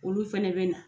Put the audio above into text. Olu fɛnɛ bɛ na